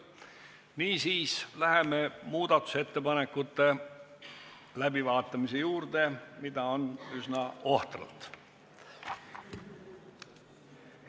Niisiis läheme muudatusettepanekute läbivaatamise juurde, neid on üsna ohtralt.